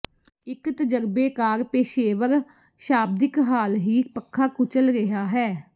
ਇੱਕ ਤਜਰਬੇਕਾਰ ਪੇਸ਼ੇਵਰ ਸ਼ਾਬਦਿਕ ਹਾਲ ਹੀ ਪੱਖਾ ਕੁਚਲ ਰਿਹਾ ਹੈ